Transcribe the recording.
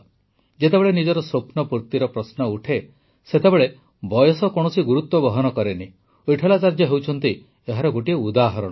ଯେତେବେଳେ ନିଜ ସ୍ୱପ୍ନ ପୂର୍ତ୍ତିର ପ୍ରଶ୍ନ ଉଠେ ସେତେବେଳେ ବୟସ କୌଣସି ଗୁରୁତ୍ୱ ବହନ କରେନି ୱିଟଠଲାଚାର୍ଯ୍ୟ ହେଉଛନ୍ତି ଏହାର ଗୋଟିଏ ଉଦାହରଣ